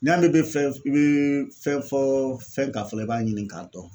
N' y"a mɛn i bɛ fɛn i bɛ fɛn fɔ fɛn kan fɔlɔ, i b'a ɲini k'a dɔn